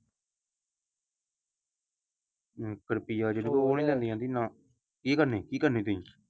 ਹਮ ਫਿਰ ਕੀ ਕਰਨੀ ਕੀ ਕਰਨੀ ਤੁਸੀਂ।